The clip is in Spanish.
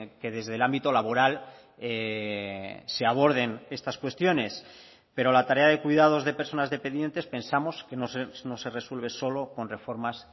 que desde el ámbito laboral se aborden estas cuestiones pero la tarea de cuidados de personas dependientes pensamos que no se resuelve solo con reformas